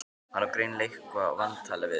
Hann á greinilega eitthvað vantalað við mig.